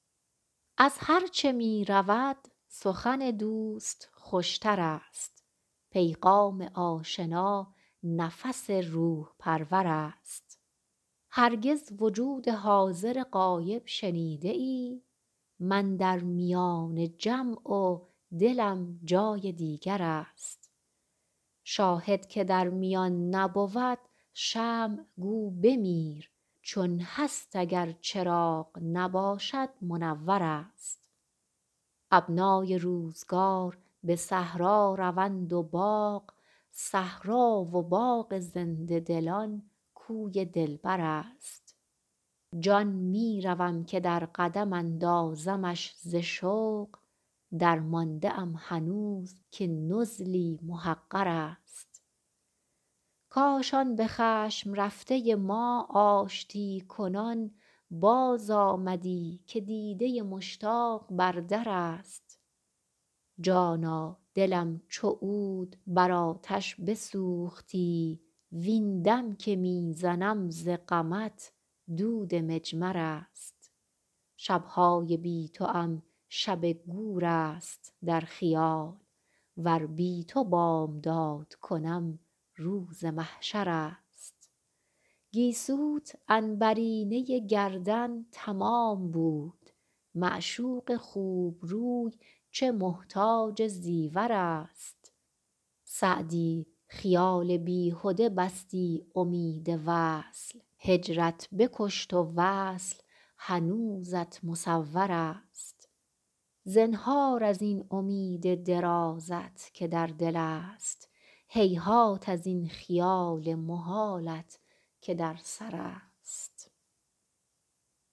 از هرچه می رود سخن دوست خوش تر است پیغام آشنا نفس روح پرور است هرگز وجود حاضر غایب شنیده ای من در میان جمع و دلم جای دیگر است شاهد که در میان نبود شمع گو بمیر چون هست اگر چراغ نباشد منور است ابنای روزگار به صحرا روند و باغ صحرا و باغ زنده دلان کوی دلبر است جان می روم که در قدم اندازمش ز شوق درمانده ام هنوز که نزلی محقر است کاش آن به خشم رفته ما آشتی کنان بازآمدی که دیده مشتاق بر در است جانا دلم چو عود بر آتش بسوختی وین دم که می زنم ز غمت دود مجمر است شب های بی توام شب گور است در خیال ور بی تو بامداد کنم روز محشر است گیسوت عنبرینه گردن تمام بود معشوق خوب روی چه محتاج زیور است سعدی خیال بیهده بستی امید وصل هجرت بکشت و وصل هنوزت مصور است زنهار از این امید درازت که در دل است هیهات از این خیال محالت که در سر است